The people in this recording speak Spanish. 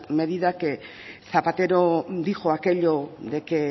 medida que zapatero dijo aquello de que